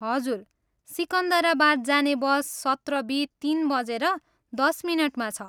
हजुर, सिकन्दराबाद जाने बस सत्र बी तिन बजेर दस मिनटमा छ।